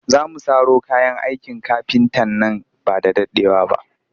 Za mu saro kayan aikin kafinta nan ba da daɗewa ba